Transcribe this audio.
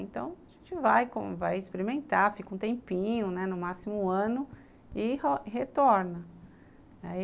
Então, a gente vai experimentar, fica um tempinho, né, no máximo um ano, e retorna.